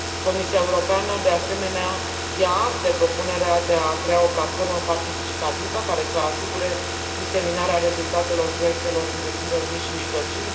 Comisia Europeană, de asemenea, ia act de propunerea de a crea o platformă participativă care să asigure diseminarea rezultatelor proiectelor întreprinderilor mici și mijlocii.